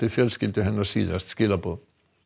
fjölskyldu hennar síðast skilaboð